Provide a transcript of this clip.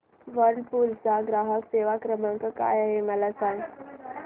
Whirlpool चा ग्राहक सेवा क्रमांक काय आहे मला सांग